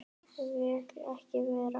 Vill ekki vera.